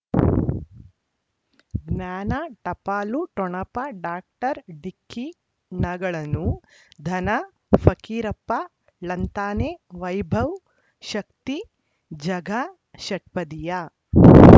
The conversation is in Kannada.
ಜ್ಞಾನ ಟಪಾಲು ಠೊಣಪ ಡಾಕ್ಟರ್ ಢಿಕ್ಕಿ ಣಗಳನು ಧನ ಫಕೀರಪ್ಪ ಳಂತಾನೆ ವೈಭವ್ ಶಕ್ತಿ ಝಗಾ ಷಟ್ಪದಿಯ